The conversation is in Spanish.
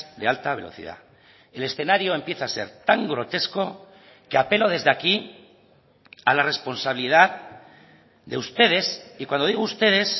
de alta velocidad el escenario empieza a ser tan grotesco que apelo desde aquí a la responsabilidad de ustedes y cuando digo ustedes